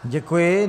Děkuji.